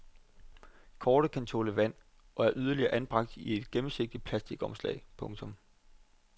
Kortet kan tåle vand og er yderligere anbragt i et gennemsigtig plasticomslag. punktum